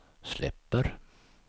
släpper